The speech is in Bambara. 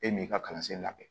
E m'i ka kalansen labɛn